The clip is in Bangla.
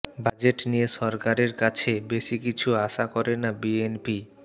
বাজেট নিয়ে সরকারের কাছে বেশি কিছু আশা করে না বিএনপি